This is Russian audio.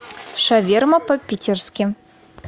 шаверма по питерски